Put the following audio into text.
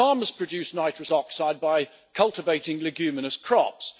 Farmers produce nitrous oxide by cultivating leguminous crops.